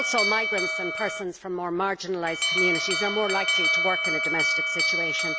Migrants and people from more marginalised communities are also more likely to work in a domestic situation.